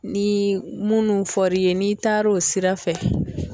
Ni munnu f'ɔri ye n'i taar' o sira fɛ